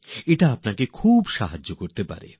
এটি আপনাদের খুব সাহায্য করতে পারে